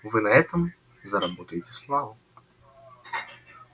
вы на этом заработаете славу